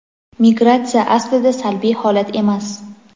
Migratsiya aslida salbiy holat emas.